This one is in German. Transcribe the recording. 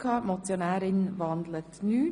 Die Motionärin wandelt nicht.